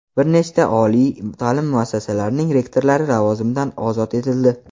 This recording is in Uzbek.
bir nechta oliy ta’lim muassasalarining rektorlari lavozimidan ozod etildi.